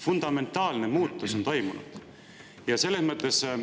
Fundamentaalne muutus on toimunud!